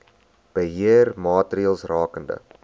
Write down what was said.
beheer maatreëls rakende